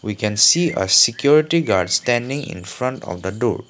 we can see a security guard standing infront of the door.